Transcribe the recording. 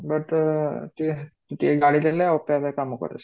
but ଅ ଟିକେ, ଟିକେ ଗାଳି ଦେଲେ ଆପେ ଆପେ କାମ କରେ ସେ